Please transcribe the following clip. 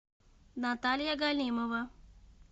наталья галимова